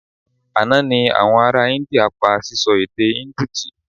Àná ni àwọn ará India pa síṣọ èdè Indu tì